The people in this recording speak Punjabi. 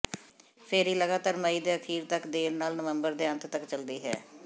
ਫੈਰੀ ਲਗਾਤਾਰ ਮਈ ਦੇ ਅਖੀਰ ਤੱਕ ਦੇਰ ਨਾਲ ਨਵੰਬਰ ਦੇ ਅੰਤ ਤਕ ਚਲਦੀ ਹੈ